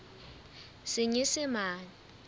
senyesemane